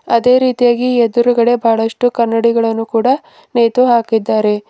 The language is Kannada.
ಅದೇ ರೀತಿಯಾಗಿ ಎದುರುಗಡೆ ಬಹಳಷ್ಟು ಕನ್ನಡಿಗಳನ್ನು ಕೂಡ ನೆತು ಹಾಕಿದ್ದಾರೆ.